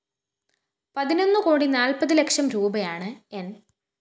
പതിനൊന്ന് കോടി നാല്‍പ്പത് ലക്ഷം രൂപയാണ് ന്‌